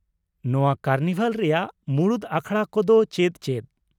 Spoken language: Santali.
ᱱᱚᱶᱟ ᱠᱟᱨᱱᱤᱵᱷᱟᱞ ᱨᱮᱭᱟᱜ ᱢᱩᱲᱩᱫ ᱟᱠᱷᱲᱟ ᱠᱚ ᱫᱚ ᱪᱮᱫ ᱪᱮᱫ ?